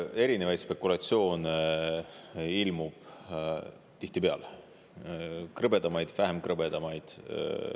Erinevaid spekulatsioone ilmub tihtipeale, krõbedamaid ja vähem krõbedaid.